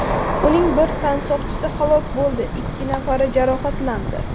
Uning bir tansoqchisi halok bo‘ldi, ikki nafari jarohatlandi.